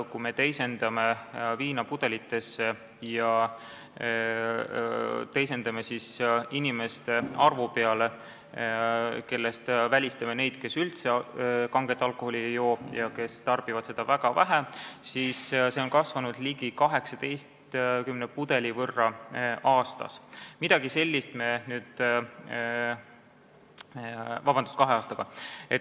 Kui me teisendame selle viinapudelitesse ja arvestame inimeste arvu, kusjuures välistame need, kes üldse kanget alkoholi ei joo ja kes tarbivad seda väga vähe, siis see hulk oleks kahe aastaga kasvanud ligi 18 pudeli võrra.